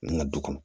N ka du kɔnɔ